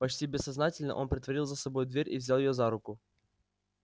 почти бессознательно он притворил за собой дверь и взял её за руку